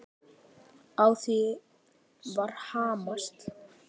Á því var hamast.